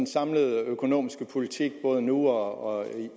samlede økonomiske politik både nu og